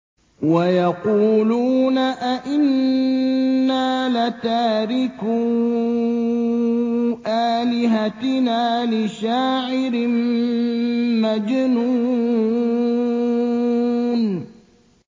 وَيَقُولُونَ أَئِنَّا لَتَارِكُو آلِهَتِنَا لِشَاعِرٍ مَّجْنُونٍ